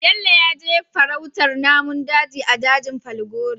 Bello yaje farautar namun daji a dajin falgore